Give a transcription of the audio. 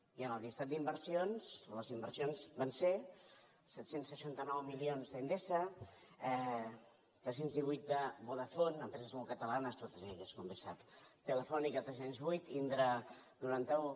i en el llistat d’inversions les inversions van ser set cents i seixanta nou milions d’endesa tres cents i divuit de vodafone empreses molt catalanes totes elles com bé sap telefónica tres cents i vuit indra noranta un